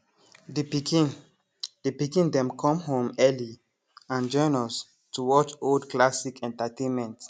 the pikin the pikin them come home early and join us to watch old classic entertainment